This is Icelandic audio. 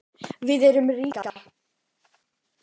Við erum ríkar